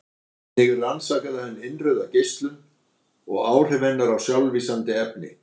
Einnig rannsakaði hann innrauða geislun og áhrif hennar á sjálflýsandi efni.